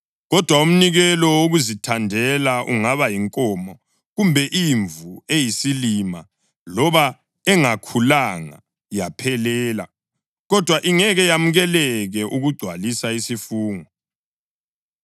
Kodwa umnikelo wokuzithandela ungaba yinkomo kumbe imvu eyisilima loba engakhulanga yaphelela, kodwa ingeke yamukeleke ukugcwalisa isifungo.